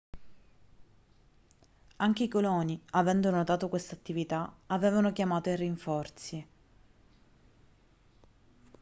anche i coloni avendo notato questa attività avevano chiamato i rinforzi